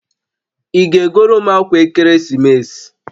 Ị ga-egoro m akwa ekeresimesi?